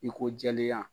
I ko jɛlenya